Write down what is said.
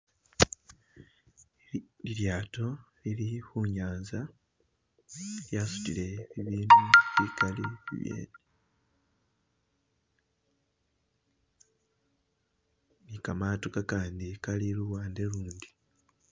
Lilyato lili khu nyanza lyasutile bibindu bikali bibyene ne kamato kakandi kali luwande ulundi.